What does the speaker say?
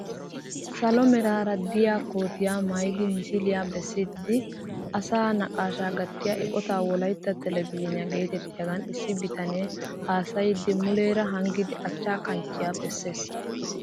Salo meraara de'iyaa kootiyaa maayidi misiliyaa bessiidi asaa naqashshaa gattiyaa eqotaa wolaytta telebizhiniyaa getettiyaagan issi bitanee hasayiidi muleera hanggidi achcha kanchchiyaa bessees!